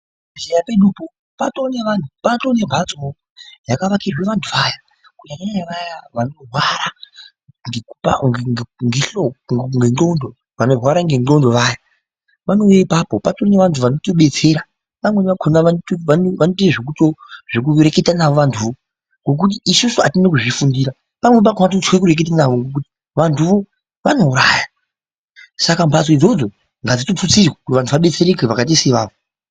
Muzvibhedhleya pedu poo patoone vanhu patio membatso poo yakavakirwe vandu Ava kunyanyanya vayaa kanorwara ngenhoko kana kuti nengqondo vanorwara nengqondo vaya vanouya ipapo patori nevandu vanobetsera pamweni pakona vanoite ,vekutoreketa navo vanduvo ngokuti isusu atine kuzvifundira pamwe pakona totye kurekete navo vanduwo vanouraya saka mbatso idzodzo ngadzitutsirwe vabetsereke vandu ivavo.